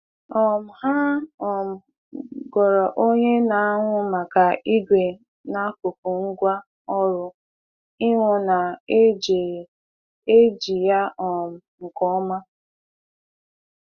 um Ha um goro onye na-ahụ maka igwe n'akuku ngwa ọru ihụ na e ji e ji ya um nke ọma.